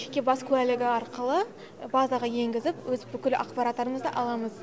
жеке бас куәлігі арқылы базаға енгізіп өз бүкіл ақпараттарымызды аламыз